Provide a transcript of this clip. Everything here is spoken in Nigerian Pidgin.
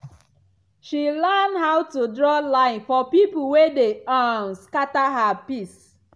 she learn how to draw line for people wey dey um scatter her peace.